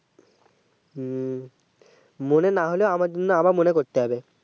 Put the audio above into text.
হুম মনে না হলেও আমার জন্য আবার মনে করতে হবে